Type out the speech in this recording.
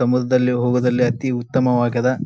ಸಮುದ್ರದಲ್ಲಿ ಹೋದಲ್ಲಿ ಅತಿ ಉತ್ತಮವಾಗ್ಯಾದ್.